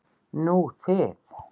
Nú þið.